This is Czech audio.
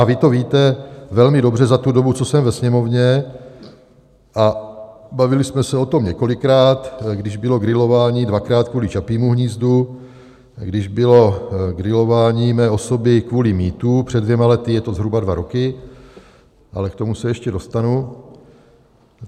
A vy to víte velmi dobře za tu dobu, co jsem ve Sněmovně, a bavili jsme se o tom několikrát, když bylo grilování dvakrát kvůli Čapímu hnízdu, když bylo grilování mé osoby kvůli mýtu před dvěma lety, je to zhruba dva roky, ale k tomu se ještě dostanu.